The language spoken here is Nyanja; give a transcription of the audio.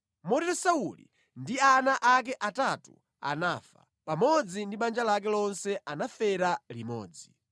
Motero Sauli ndi ana ake atatu anafa, pamodzi ndi banja lake lonse anafera limodzi.